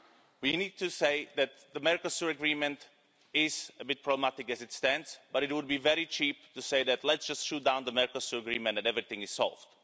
We need to say that the Mercosur Agreement is a bit problematic as it stands, but it would be very cheap to say, let's just shoot down the Mercosur Agreement and everything is solved'.